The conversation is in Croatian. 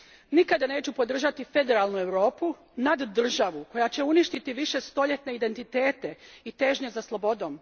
Nikada neću podržati federalnu Europu, naddržavu koja će uništiti višestoljetne identitete i težnje za slobodom.